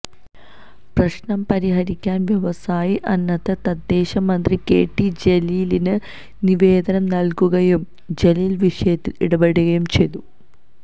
പ്രശ്നം പരിഹരിക്കാൻ വ്യവസായി അന്നത്തെ തദ്ദേശമന്ത്രി കെ ടി ജലീലിന് നിവേദനം നൽകുകയും ജലീൽ വിഷയത്തിൽ ഇടപെടുകയും ചെയ്തു